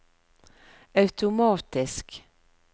automatisk